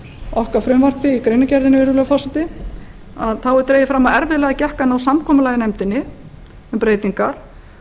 okkar frumvarpi greinargerðinni virðulegi forseti þá er dregið fram að erfiðlega gekk að ná samkomulagi í nefndinni um breytingar